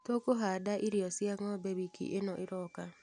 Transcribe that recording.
Tũkahanda irio cia ngombe wiki ĩno ĩroka.